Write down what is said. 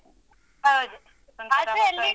ಹೌದು. ಆದ್ರೆ ಅಲ್ಲಿ.